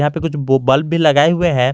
यहां पे कुछ बल्ब लगाए हुए है।